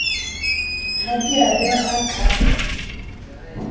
ha di a behwa ka